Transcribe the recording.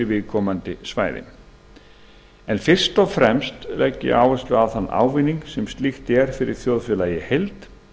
viðkomandi svæðis en fyrst og fremst legg ég áherslu á ávinninginn fyrir þjóðfélagið í heild